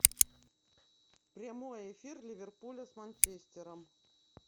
прямой эфир ливерпуля с манчестером